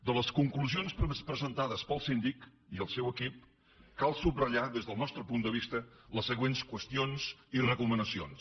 de les conclusions presentades pel síndic i el seu equip cal subratllar des del nostre punt de vista les següents qüestions i recomanacions